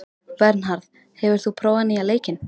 Bernharð, hefur þú prófað nýja leikinn?